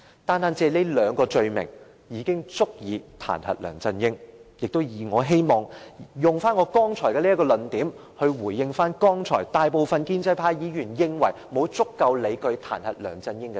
單是這兩項罪名，已足以構成彈劾梁振英的理據，我也希望以這論點，回應剛才大部分建制派議員指沒有足夠理據彈劾梁振英的說法。